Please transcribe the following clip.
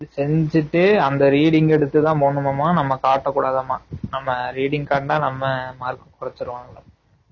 செஞ்சுட்டு அந்த reading எடுத்து தான் போடணும் ஆமா நம்ம காட்ட கூடாது ஆமா நம்ம reading காட்டுனா நம்ம mark கோரச்சுறு வணங்கலாம்